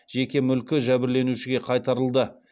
жеке мүлкі жәбірленушіге қайтарылды